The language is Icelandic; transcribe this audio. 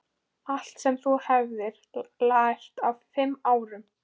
Allt sem þú hefur lært á fimm árum.